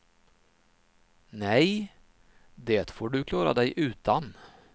Nej, det får du klara dig utan.